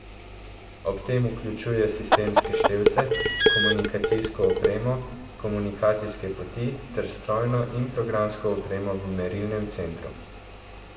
Ob tem vključuje sistemske števce, komunikacijsko opremo, komunikacijske poti ter strojno in programsko opremo v merilnem centru.